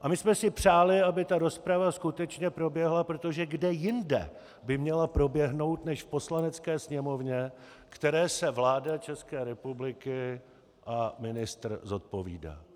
A my jsme si přáli, aby ta rozprava skutečně proběhla, protože kde jinde by měla proběhnout než v Poslanecké sněmovně, které se vláda České republiky a ministr zodpovídá.